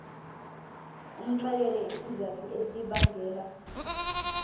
umxelele izizathu ezibangela